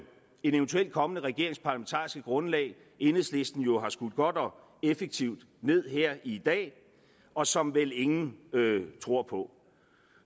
eventuel kommende regerings parlamentariske grundlag enhedslisten jo har skudt godt og effektivt ned her i dag og som vel ingen tror på